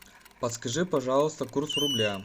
подскажи пожалуйста курс рубля